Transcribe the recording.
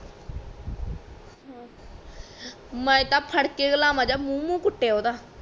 ਮੈਂ ਤਾ ਫੜ ਕੇ ਗਲਾ ਮੁੰਹ -ਮੁੰਹ ਕੁਟਿਆ ਓਹਦਾ